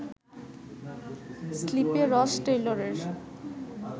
স্লিপে রস টেইলরের